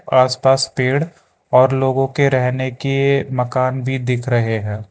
आसपास पेंड और लोगों के रहने के मकान भी दिख रहे हैं।